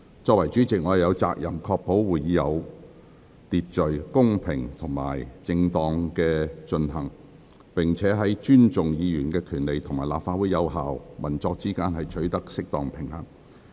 作為主席，我有責任確保會議有秩序、公平及正當地進行，並在尊重議員權利與立法會有效運作之間，取得適當平衡。